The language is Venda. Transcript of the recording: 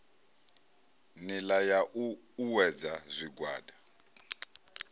nila ya u uuwedza zwigwada